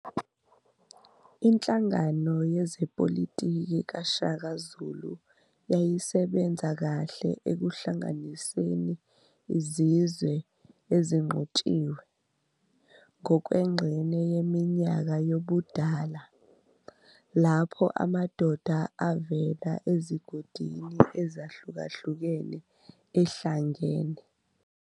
Inhlangano yezepolitiki kaShaka Zulu yayisebenza kahle ekuhlanganiseni izizwe "ezinqotshiwe", ngokwengxenye yeminyaka yobudala, lapho amadoda avela ezigodini ezahlukahlukene ehlangene.